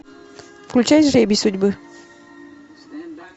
включай жребий судьбы